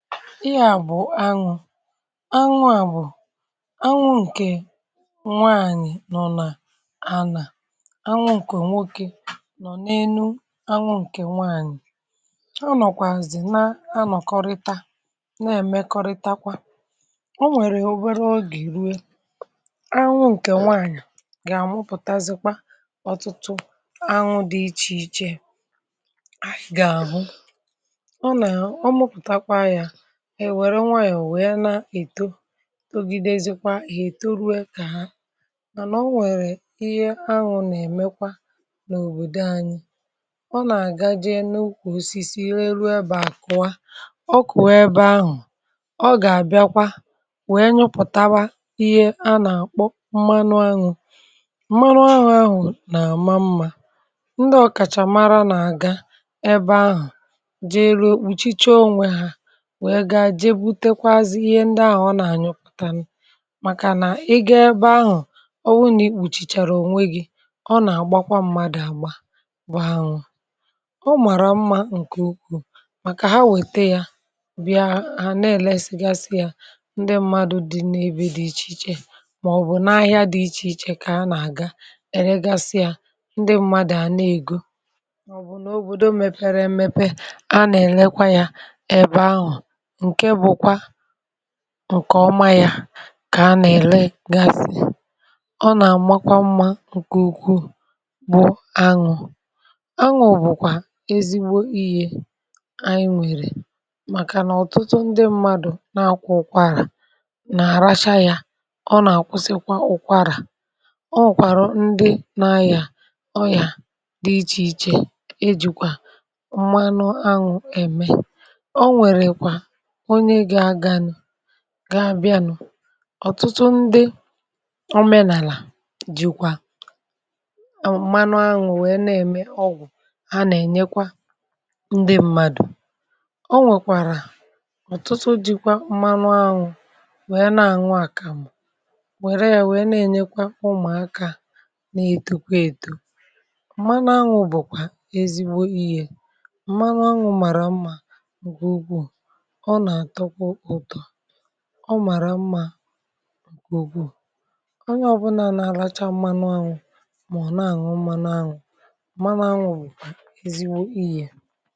Anwụ̇ bụ̀... anwụ̇ ǹkè nwànyị̀ nọ n’anà. Anwụ̇ bụ̀kwa anwụ̇ ǹkè nwokè nọ̀ n’énu. Anwụ̇ ǹkè nwànyị̀ na-anọkọrịta, na-emekọrịtakwa. Ọ um nwèrè obere oge, i rụọ̀, anwụ̇ ǹkè nwànyị̀ gà-àmụpụ̀tà ọtụtụ anwụ̇ dị iche iche. Ha gà-abụ̀ ndị na-enwe nwayọ̀, wèe na-eto, um gà-edozikwa, gà-etò ruo mgbe ha gà-aghọ̀ mànà anwụ̇. Mànà, anwụ̇ nà-emekwa ọtụtụ ihe n’òbòdò ànyị. Ọ na-aga jee n’ùkwù osisi, eru ebe àkụwa, ọ kụ̀, wee na-ewepụta ihe a nà-akpọ mmanụ aṅụ̀. Mmanụ aṅụ̀ ahụ̀ nà-amà mm Ndị ọkàchàmara na-aga ebe anwụ̇ nọ, ruo kpochichie onwe ha, jee bute kwa ihe ndị ahụ̀ ọ um nà-efepụ̀tà. Màkà nà ị gà-aga ebe ahụ̀, ọ bụ nà i kpochichàrà onwe gị̇, ọ gà-aka mma. Ọ nà-agbakwara mmadụ àgba, bụ̀ ahụ̀ ọ màrà mma. Nkè okwù bụ̀ nà, ha wètè yà bịa, ha na-èlèsi yà. Ndị mmadụ̇ n’ebe dị iche iche,... màọbụ̀ n’ahịa dị iche iche, kà ha nà-aga èlegasị yà. Ndị mmadụ̇ nà-ego, màọbụ̀ n’òbòdo mèpere emepe, a nà-èlekwa yà ebe ahụ̀. Nkè ọma yà kà a nà-èlegasị. Ọ nà-amà mmā nkè ukwuù bụ̀ anwụ̇. Anwụ̇ bụ̀kwà ezigbo iyė ànyị nwèrè. Màkànà ọ̀tụtụ ndị mmadụ̇ nà-àkụ ụkwara, nà-àracha yà. Ọ nà-àkwụsikwà ụkwara. Ọ nwèrèkwa ndị na-ayà ọyà dị iche iche, ìjì mmanụ anwụ̇ mee ọgwụ̀, gà-abịa. Ọ̀tụtụ ndị omenàlà jìkwa mmanụ aṅụ̀... wèe na-eme ọgwụ̀ ha. Ọ nà-enyekwa ndị mmadụ̇ aka.(um) Ọ nwèrèkwa ndị jìkwa mmanụ aṅụ̀ wèe na-àṅụ àkàmụ̀, wèrè ya nà-enye ụmụ̀akà, na-ètokwa èto. Mmanụ aṅụ̀ bụ̀kwà ezigbo iyė. Mmanụ aṅụ̀ màrà mmā, gùugù, ọ̀ màrà mmā gùnkwù. Onye ọ̀bụnà nà-àlacha mmanụ̇ um àhụ, ọ̀ na-àṅụ mmā. Na-àṅụ̀, ma na-àṅụ̀, ọ bụ um eziwo ihè.